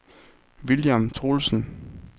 William Troelsen